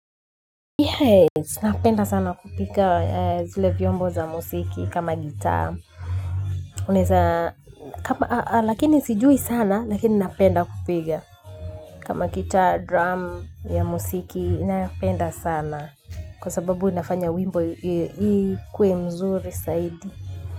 Napenda sana kupika zile vyombo za musiki kama gitaa. Lakini sijui sana, lakini napenda kupiga. Kama gitaa, drum ya musiki, napenda sana. Kwa sababu nafanya wimbo yi ikuwe mzuri saidi.